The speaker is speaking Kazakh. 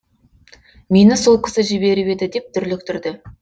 мені сол кісі жіберіп еді деп дүрліктірді